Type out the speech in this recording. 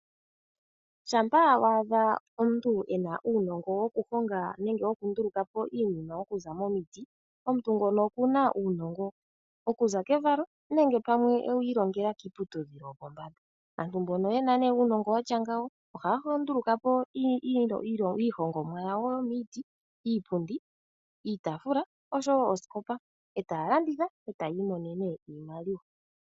Shampa wa adha omuntu e na uunongo wokuhonga nenge wokunduluka po iinima okuza momiti, omuntu ngono okuna uunongo okuza kevalo, nenge pamwe ewu ilongela kiiputudhilo yopombanda. Aantu mbono ye na uunongo watya ngawo, ohaya nduluka po iihongomwa yawo yomomiti ngaashi, iipundi, iitafula, oshowo oosikopa, etaya landitha opo yi imonene iimaliwa.